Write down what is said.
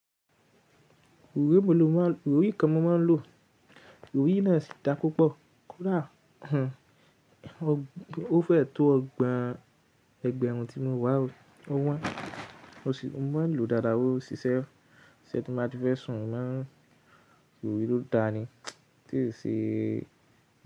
Orí mi ló máa ń, orí kan mo máa ń lò. Orí náà sì dá púpọ̀. Kódà, o fẹ́ tó ọgbọ̀n ẹgbẹ̀rún tí mo wà ó, ó wọn. Mo sì, mo máa ń lò dáadáa o, ṣìṣẹ́, ṣẹ́ tí mo bá ti fẹ́ sùn, má ń, orí ló da ni. Tí ì ṣe.